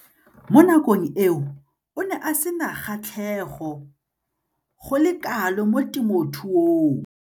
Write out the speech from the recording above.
Mo nakong eo o ne a sena kgatlhego go le kalo mo temothuong.